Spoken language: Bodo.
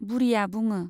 बुरिया बुङो।